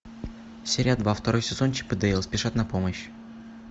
серия два второй сезон чип и дейл спешат на помощь